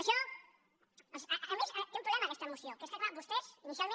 a més té un problema aquesta moció que és que és clar vostès inicialment